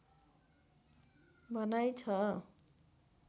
भनाइ छ